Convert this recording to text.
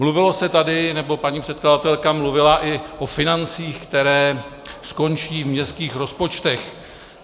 Mluvilo se tady, nebo paní předkladatelka mluvila i o financích, které skončí v městských rozpočtech.